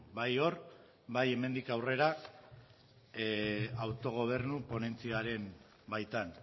bai hor eta bai hemendik aurrera autogobernu ponentziaren baitan